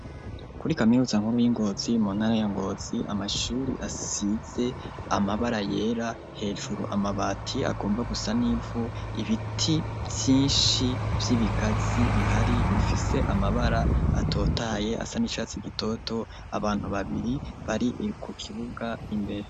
Kuri kaminuza nkuru y'i Ngozi mu ntara ya Ngozi amashure asize amabara yera hejuru, amabati agomba gusa n'ivu ibiti vyinshi vy'ibigazi bihari bifise amabara atotahaye asa n'icatsi gitoto, abantu babiri bari ku kibuga imbere.